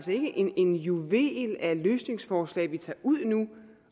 en juvel af løsningsforslag vi tager ud nu